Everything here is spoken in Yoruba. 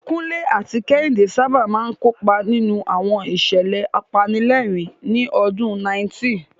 Kunle àti Kehinde sábà máa ń kópa nínú àwọn ìṣẹ̀lẹ̀ apanilẹ́rìn-ín ní ọdún 90.